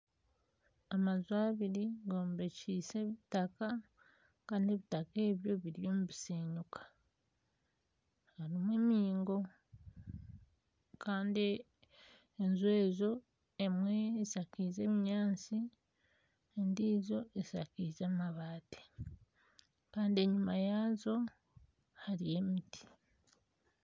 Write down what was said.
Amaju abiri gombekyise ebitaka kandi ebitaka ebyo biriyo nibishenyuka harimu emiingo kandi enju ezo emwe eshakize obunyaatsi endiijo eshakize amabaati kandi enyima yaazo hariyo emiti.